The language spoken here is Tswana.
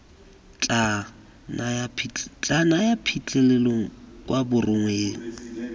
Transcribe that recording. tla naya phitlhelelo kwa borongweng